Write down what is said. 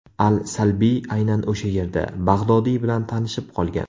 Al-Salbiy aynan o‘sha yerda Bag‘dodiy bilan tanishib qolgan.